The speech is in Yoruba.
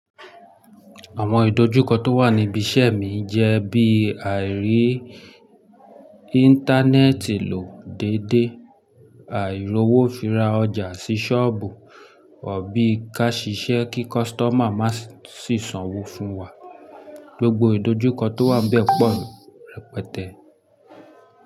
Àwọn ìdojúkọ tó wà níbi iṣẹ́ mi jẹ́ bí àìrí Íńtánẹ́ẹ̀tì lò dédé, àìrowó fi ra ọjà sí sọ́ọ̀bù, òr bí ká ṣiṣẹ́ kí customer máa sì sanwó fún wa. Gbogbo ìdojúkọ tó wà nbẹ̀ pọ̀ rẹpẹtẹ.